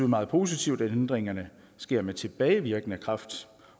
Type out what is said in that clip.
meget positivt at ændringerne sker med tilbagevirkende kraft